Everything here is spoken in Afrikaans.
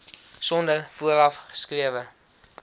sonder vooraf geskrewe